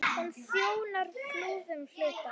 Hún þjónar Flúðum, hluta